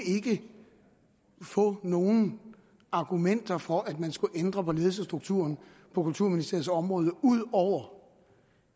få nogen argumenter for at man skulle ændre på ledelsesstrukturen på kulturministeriets område ud over